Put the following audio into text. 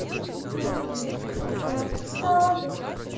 и телевизор с потолка свисает